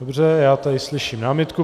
Dobře, já tady slyším námitku.